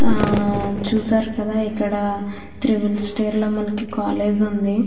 ఆ చూసారు కదా ఇక్కడ త్రిబుల్ స్టేర్ లో మనకి కాలేజీ ఉంది.